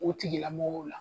O tigilamɔgɔw la.